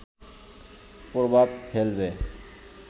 প্রভাব ফেলবে